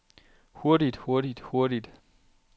hurtigt hurtigt hurtigt